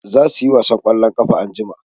Za su yi wasan ƙwallon ƙafa anjima.